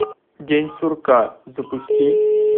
день сурка запусти